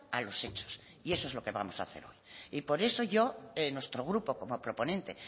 a los hechos y eso es lo que vamos a hacer hoy y por eso yo nuestro grupo como proponente